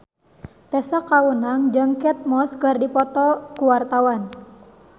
Tessa Kaunang jeung Kate Moss keur dipoto ku wartawan